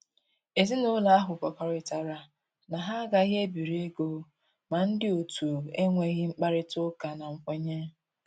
Ezinúlọ̀ ahụ̀ kwekọrịtara na ha agàghị ebiri égò ma ndị otu ènwèghị mkpárịtà ụ́kà na nkwènyé